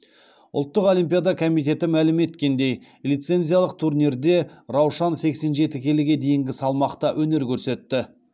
ұлттық олимпиада комитеті мәлім еткеніндей лицензиялық турнирде раушан сексен жеті келіге дейінгі салмақта өнер көрсетті